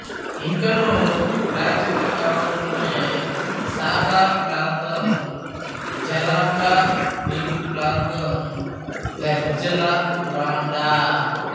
ఇంకనూ ప్రాచీన కాలంలోని సాకా ప్రాంతం జరాంకా నీటిప్రాంతం ద్జరాన్డా